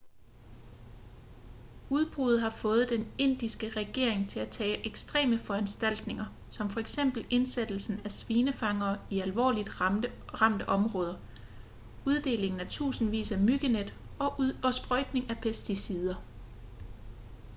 udbruddet har fået den indiske regering til at tage ekstreme foranstaltninger som f.eks indsættelsen af svinefangere i alvorligt ramte områder uddeling af tusindvis af myggenet og sprøjtning af pesticider